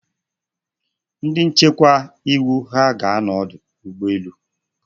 Ndị nchekwa iwu ha ga-anọ n'ọdụ ụgbọ elu?